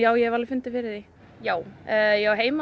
ég hef alveg fundið fyrir því já ég á heima